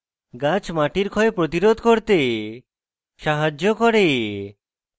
গাছ মাটির ক্ষয় প্রতিরোধ করতে সাহায্য করে